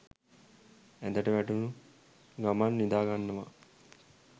ඇඳට වැටුන ගමන් නිදාගන්නවා